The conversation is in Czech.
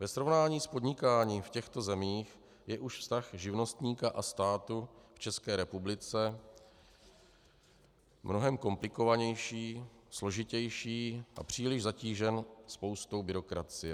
Ve srovnání s podnikáním v těchto zemích je už vztah živnostníka a státu v České republice mnohem komplikovanější, složitější a příliš zatížený spoustou byrokracie.